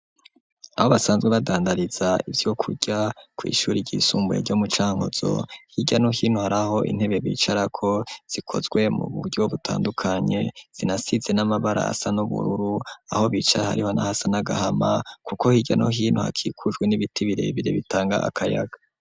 Aho basanzwe badandariza ivyo kurya kw'ishuri ryisumbuye ryo mu Cankuzo hirya no hino haraho intebe bicara ko zikozwe mu buryo butandukanye zinasize n'amabara asa n'ubururu aho bicara hariho nahasa n'agahama kuko hirya no hino hakikujwe n'ibiti birebire bitanga akayaga.